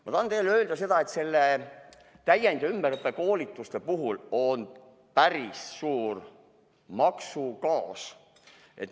Ma tahan teile öelda, et täiend‑ ja ümberõppekoolituste puhul on päris suur maksukaos.